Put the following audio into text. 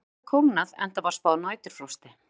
Það hafði kólnað enda var spáð næturfrosti.